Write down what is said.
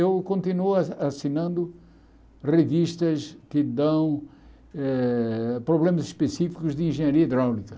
Eu continuo ah assinando revistas que dão eh problemas específicos de engenharia hidráulica.